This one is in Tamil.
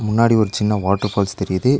முன்னாடி ஒரு சின்ன வாட்டர் ஃபால்ஸ் தெரியிது.